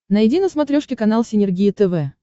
найди на смотрешке канал синергия тв